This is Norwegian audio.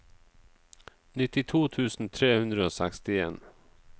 nittito tusen tre hundre og sekstien